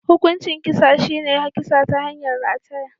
Hukuncin kisan shi ne kisa ta hanyar rataya.